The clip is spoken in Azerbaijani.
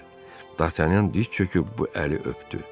Dartanyan diz çöküb bu əli öpdü.